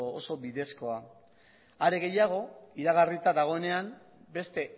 oso bidezkoa are gehiago iragarrita dagoenean beste